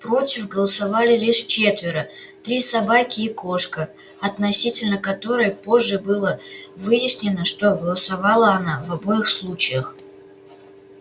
против голосовали лишь четверо три собаки и кошка относительно которой позже было выяснено что голосовала она в обоих случаях